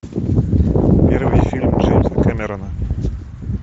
первый фильм джеймса кэмерона